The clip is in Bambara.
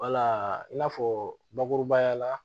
Wala i n'a fɔ bakurubaya la